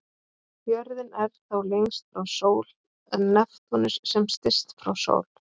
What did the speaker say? Jörðin er þá lengst frá sól en Neptúnus sem styst frá sól.